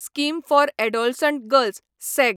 scheme for adolescent girls sag